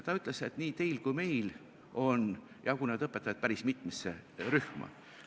Ta ütles, et nii teil kui meil on jagunenud õpetajad päris mitmesse rühma.